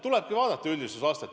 Tulebki vaadata üldistades.